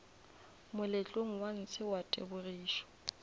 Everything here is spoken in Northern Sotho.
moletlong wa ntshe wa tebogišo